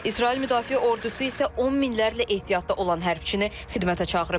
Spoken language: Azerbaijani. İsrail Müdafiə Ordusu isə on minlərlə ehtiyatda olan hərbçini xidmətə çağırıb.